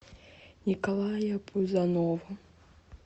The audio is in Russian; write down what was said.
николая пузанова